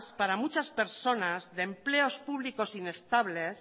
para muchas personas de empleos públicos inestables